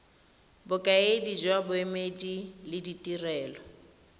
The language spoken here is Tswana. bokaedi jwa boemedi le ditirelo